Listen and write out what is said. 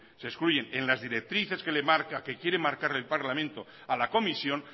se excluyen en las directrices que le marca que quiere marcarle el parlamento a la comisión